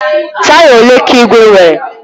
Taya ole ka igwe nwere?